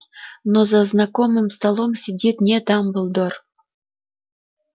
но за знакомым столом сидит не дамблдор